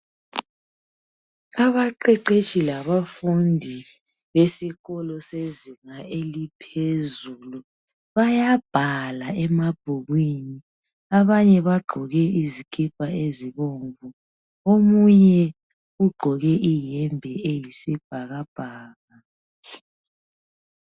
Abaqeqetshi labafundi besikolo sezinga eliphezulu, bayabhala emabhukwini abanye bagqoke izikipa ezibomvu omunye ugqoke iyembe eyisibhakabhaka.